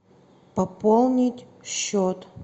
пополнить счет